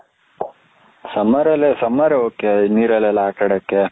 summer ರಲ್ಲಿ summer ok ನೀರಲ್ಲಿ ಎಲ್ಲ ಆಟ ಆಡಕ್ಕೆ